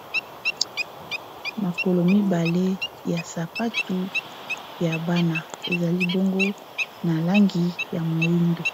makolo mibale ya sapatu ya bana ezalibongo na langi ya moindo